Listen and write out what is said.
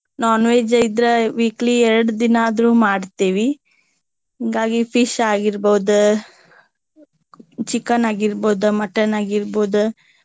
non veg ಇದ್ರ weekly ಎರಡ ದಿನಾ ಆದ್ರೂ ಮಾಡ್ತೇವಿ. ಹಿಂಗಾಗಿ Fish ಆಗಿರ್ಬಹುದು Chicken ಆಗಿರ್ಬಹುದು Mutton ಆಗಿರ್ಬಹುದು.